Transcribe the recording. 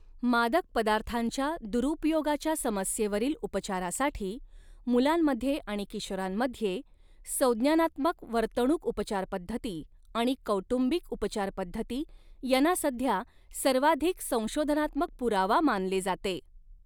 मादक पदार्थांच्या दुरुपयोगाच्या समस्येवरील उपचारासाठी, मुलांमध्ये आणि किशोरांमध्ये संज्ञानात्मक वर्तणूक उपचारपद्धती आणि कौटुंबिक उपचारपद्धती यांना सध्या सर्वाधिक संशोधनात्मक पुरावा मानले जाते.